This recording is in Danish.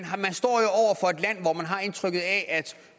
har indtrykket af at